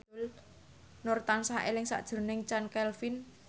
Nur tansah eling sakjroning Chand Kelvin